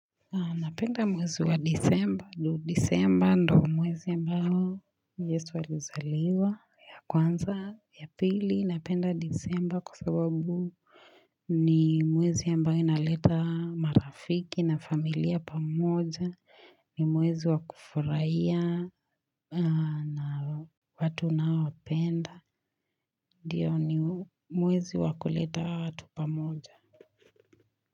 Napenda mwezi wa disemba, ndo mwezi ambao, yesu alizaliwa ya kwanza ya pili, napenda disemba kwa sababu ni mwezi ambayo inaleta marafiki na familia pamoja, ni mwezi wa kufraia na watu naowapenda, ndio ni mwezi wa kuleta watu pamoja.